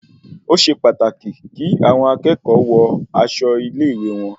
Osé pàtàkì kí àwọn akẹ́kọ̀ọ́ wọ aṣọ ilé-ìwé wọn